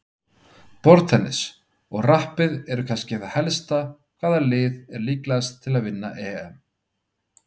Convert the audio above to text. Borðtennis, og rappið eru kannski það helsta Hvaða lið er líklegast til að vinna EM?